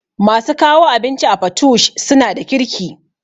Masu kawo abinci a patoosh suna da kirki